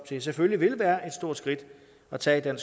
til selvfølgelig vil være et stort skridt at tage